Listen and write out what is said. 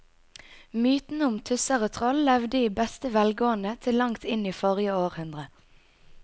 Mytene om tusser og troll levde i beste velgående til langt inn i forrige århundre.